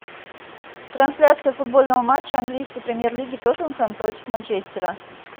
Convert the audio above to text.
трансляция футбольного матча английской премьер лиги тоттенхэм против манчестера